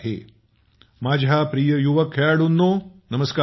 पंतप्रधान मोदीः माझ्या प्रिय युवक खेळाडूंनो नमस्कार